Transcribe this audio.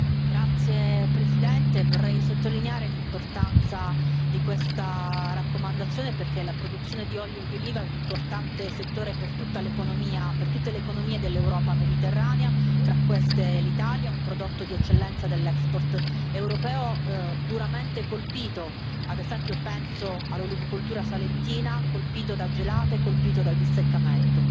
Grazie Presidente, vorrei sottolineare l'importanza di questa raccomandazione perché la produzione di olio di oliva è un importante settore per le economie dell'Europa mediterranea tra queste l'Italia ed è un prodotto di eccellenza dell'export europeo, duramente colpito, ad esempio penso all'olivicoltura salentina, colpito da gelate e colpito dal distaccamento.